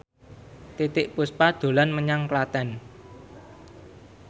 Titiek Puspa dolan menyang Klaten